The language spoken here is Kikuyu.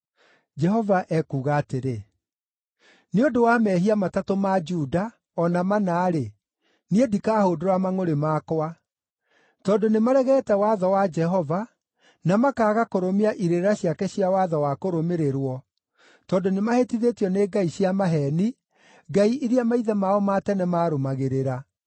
Jehova ekuuga atĩrĩ: “Nĩ ũndũ wa mehia matatũ ma Juda, o na mana-rĩ, niĩ ndikahũndũra mangʼũrĩ makwa. Tondũ nĩmaregete watho wa Jehova, na makaaga kũrũmia irĩra ciake cia watho wa kũrũmĩrĩrwo, tondũ nĩmahĩtithĩtio nĩ ngai cia maheeni, ngai iria maithe mao ma tene maarũmagĩrĩra.